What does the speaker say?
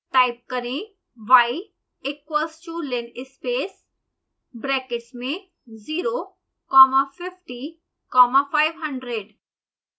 type करें y equals to linspace brackets में 0 comma 50 comma 500